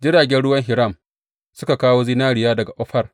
Jiragen ruwan Hiram suka kawo zinariya daga Ofir.